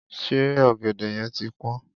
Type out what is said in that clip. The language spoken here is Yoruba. Ṣé ọ̀gẹ̀dẹ̀ yẹn ti pọ́n?